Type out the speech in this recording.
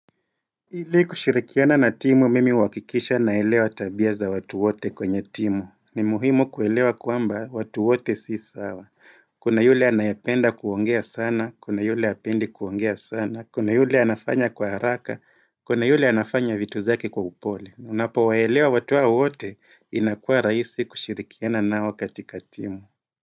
Ili kushirikiana na timu mimi uhakikisha naelewa tabia za watu wote kwenye timu, ni muhimu kuelewa kwamba watu wote si sawa, kuna yule anayependa kuongea sana, kuna yule hapendi kuongea sana, kuna yule anafanya kwa haraka, kuna yule anafanya vitu zake kwa upole, unapowaelewa watu hao wote inakuwa rahisi kushirikiana nao katika timu.